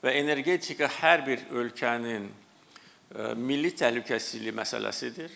Və energetika hər bir ölkənin milli təhlükəsizliyi məsələsidir.